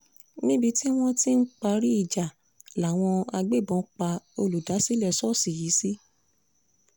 níbi tí wọ́n ti ń parí ìjà làwọn agbébọn pa olùdásílẹ̀ ṣọ́ọ̀ṣì yìí sí